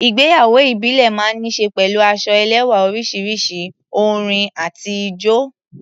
Ìgbéyàwó ìbílẹ̀ máa ń ní ṣe pẹ̀lú aṣọ ẹlẹ́wá̀ oríṣiríṣi, orin àti ijó.